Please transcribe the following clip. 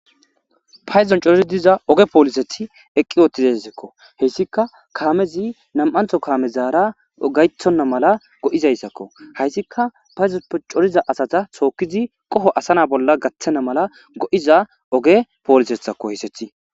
paydon corii diza oge poolisethi eqqi ootizasekko heyssika kaamezi nam7antho kaamezaara gaythonna mala go7izayssakko hayssika payzonpe coriza asata sookizi qoho asana bolla gaththena mala go7iza oge poolisethakko hisethi